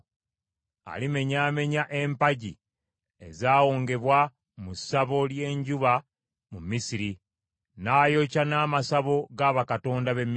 Alimenyamenya empagi ezaawongebwa mu ssabo ly’enjuba mu Misiri, n’ayokya n’amasabo ga bakatonda b’e Misiri.’ ”